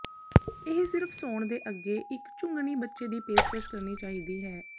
ਇਹ ਸਿਰਫ਼ ਸੌਣ ਦੇ ਅੱਗੇ ਇੱਕ ਚੁੰਘਣੀ ਬੱਚੇ ਦੀ ਪੇਸ਼ਕਸ਼ ਕਰਨੀ ਚਾਹੀਦੀ ਹੈ